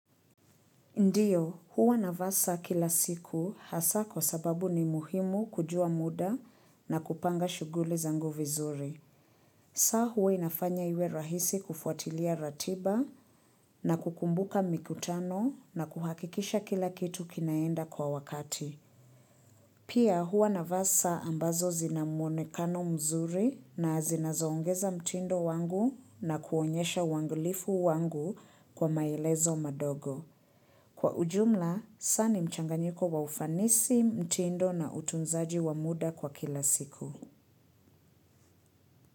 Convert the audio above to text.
Ndiyo, huwa na vaa saa kila siku hasa kwa sababu ni muhimu kujua muda na kupanga shughuli zangu vizuri. Saa huwa inafanya iwe rahisi kufuatilia ratiba na kukumbuka mikutano na kuhakikisha kila kitu kinaenda kwa wakati. Pia huwa na vaa saa ambazo zinamuonekano mzuri na zinazoongeza mtindo wangu na kuonyesha wangulifu wangu kwa maelezo madogo. Kwa ujumla, saa ni mchanganyiko wa ufanisi, mtindo na utunzaji wa muda kwa kila siku.